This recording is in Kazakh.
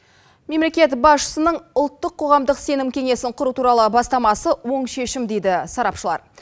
мемлекет басшысының ұлттық қоғамдық сенім кеңесін құру туралы бастамасы оң шешім дейді сарапшылар